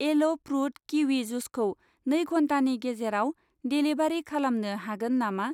L' fruit kiwi जुसखौ नै घन्टानि गेजेराव देलिभारि खालामनो हागोन नामा?